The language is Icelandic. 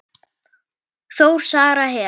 Þór, Sara, Hera.